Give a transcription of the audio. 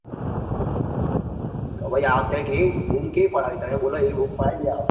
તો ભાઈ કેઈ આ વખતે બૂમ કેવી પડાવી તમે બોલો એવી બૂમ પડાવી દઈએ આ વખતે ધાબા પર